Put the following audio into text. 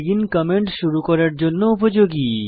begin comment শুরু করার জন্য উপযোগী